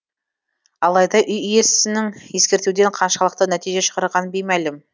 алайда үй иесінің ескертуден қаншалықты нәтиже шығарғаны беймәлім